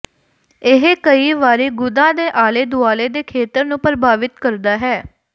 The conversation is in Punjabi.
ਇਹ ਕਈ ਵਾਰੀ ਗੁਦਾ ਦੇ ਆਲੇ ਦੁਆਲੇ ਦੇ ਖੇਤਰ ਨੂੰ ਪ੍ਰਭਾਵਿਤ ਕਰਦਾ ਹੈ